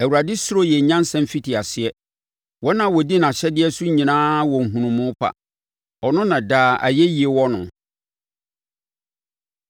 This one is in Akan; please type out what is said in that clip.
Awurade suro yɛ nyansa mfitiaseɛ; wɔn a wɔdi nʼahyɛdeɛ so nyinaa wɔ nhunumu pa. Ɔno na daa ayɛyie wɔ no.